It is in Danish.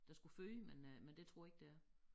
Der skulle føde men øh men det tror jeg ikke det er